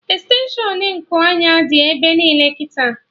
Extenshụn Nku anya dị ebe niile kịta